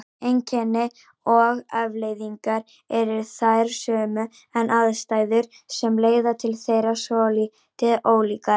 Einkenni og afleiðingar eru þær sömu en aðstæður sem leiða til þeirra svolítið ólíkar.